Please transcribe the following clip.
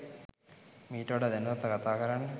මීට වඩා දැනුවත්ව කතා කරන්න.